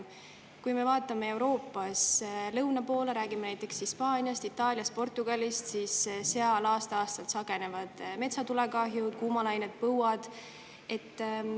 Kui me vaatame Euroopas lõuna poole, räägime näiteks Hispaaniast, Itaaliast, Portugalist, siis seal aasta-aastalt sagenevad metsatulekahjud, kuumalained, põuad.